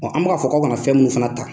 An bɛ k'a fɔ aw kana fɛn minnu fana ta.